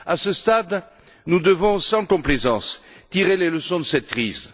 À ce stade, nous devons, sans complaisance, tirer les leçons de cette crise.